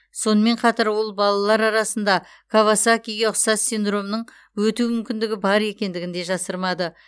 сонымен қатар ол балалалар арасында кавасакиге ұқсас синдромның өту мүмкіндігі бар екендігін де жасырмады